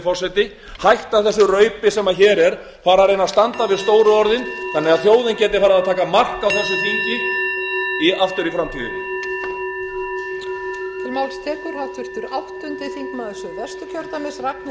forseti hætta þessu raupi sem hér er fara að reyna að standa við stóru orðin þannig að þjóðin geti farið að taka mark á þessu þingi aftur í framtíðinni